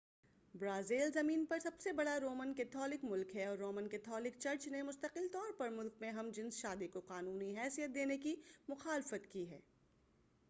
Brazil زمین پر سب سے بڑا رومن کیتھولک ملک ہے اور رومن کیتھولک چرچ نے مستقل طور پر ملک میں ہم جنس شادی کو قانونی حیثیت دینے کی مخالفت کی ہے